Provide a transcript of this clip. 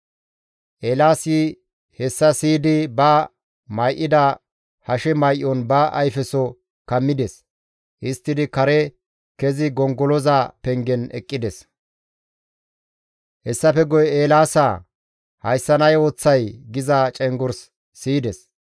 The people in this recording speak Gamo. Eelaasi hessa siyidi ba may7ida hashe may7on ba ayfeso kammides. Histtidi kare kezi gongoloza pengen eqqides. Hessafe guye, «Eelaasaa! Hayssan ay ooththay?» giza cenggurs siyides.